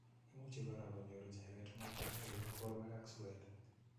Imuchi kora konyor icheket mwaninwek eng' porwek ak suet